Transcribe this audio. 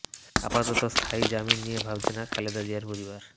আপাতত স্থায়ী জামিন নিয়ে ভাবছে না খালেদা জিয়ার পরিবার